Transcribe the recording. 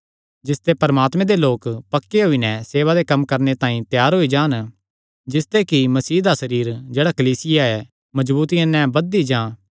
जिसते परमात्मे दे लोक पक्के होई नैं सेवा दे कम्मां तांई त्यार होई जान जिसते कि मसीह दा सरीर जेह्ड़ा कलीसिया ऐ मजबूतिया नैं बधदी जां